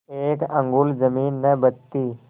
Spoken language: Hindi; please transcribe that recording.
एक अंगुल जमीन न बचती